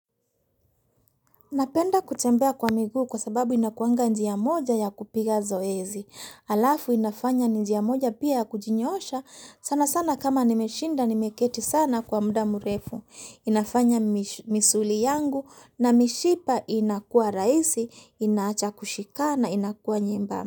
Napenda kutembea kwa miguu kwa sababu inakuanga njia moja ya kupiga zoezi. Alafu inafanya njia moja pia ya kujinyosha sana sana kama nimeshinda nimeketi sana kwa muda mrefu. Inafanya misuli yangu na mishipa inakua raisi, inawacha kushikana inakuwa nyembamba.